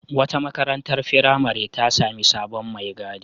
Wata marantar firamare ta sami sabon mai gadi.